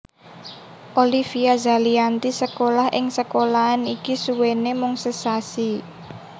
Olivia Zalianty sekolah ing sekolahan iki suwené mung sesasi